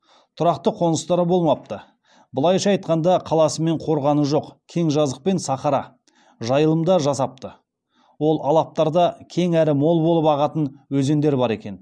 тұрақты қоныстары болмапты былайша айтқанда қаласы мен қорғаны жоқ кең жазық пен сахара жайылымда жасапты ол алаптарда кең әрі мол болып ағатын өзендер бар екен